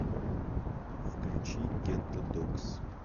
включи гетто догс